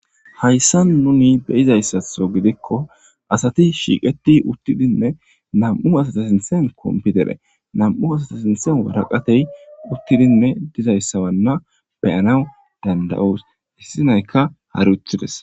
Hayssa nuni beyizayssatho gidikko asati shiiqeti uttidinne nam7u asata sinthen kompitere nam7u asata sinthen waraqatey uttidinne dizayssawanna beyanaw danda7os issinayka haruthides.